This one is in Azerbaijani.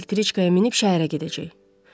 Elektriçkaya minib şəhərə gedəcək.